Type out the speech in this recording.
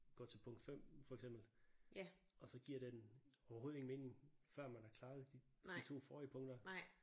Gå til punkt 5 for eksempel og så giver den overhoved ingen mening før man har klaret de 2 forrige punkter